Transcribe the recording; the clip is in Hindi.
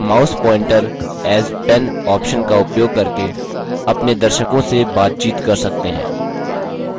आप mouse pointer as pen option का उपयोग करके अपने दर्शकों से बातचीत कर सकते हैं